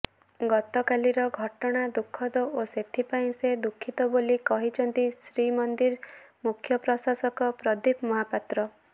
ଗତକାଲିର ଘଟଣା ଦୁଃଖଦ ଓ ଏଥିପାଇଁ ସେ ଦୁଃଖିତ ବୋଲି କହିଛନ୍ତି ଶ୍ରୀମନ୍ଦିର ମୁଖ୍ୟପ୍ରଶାସକ ପ୍ରଦୀପ ମହାପାତ୍ର